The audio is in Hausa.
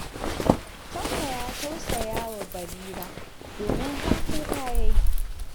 Tanko ya tausaya wa Barira, domin har kuka ya yi.